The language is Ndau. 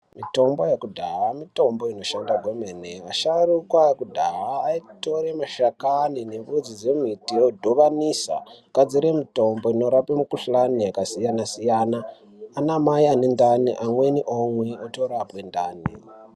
Mitombo yekudhaya mitombo inoshanda kwemene , asharuka ekudhaya aitore mashakani nemudzi dzemiti odhovanisa ogadzire mitombo inorape mikhuhlani yakasiyana siyana, anamai anendani amweni omwa otorapwe ndani.